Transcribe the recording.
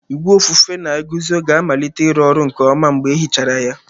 Igwe ofufe na-eguzo ga-amalite ịrụ ọrụ nke ọma mgbe e hichara ya.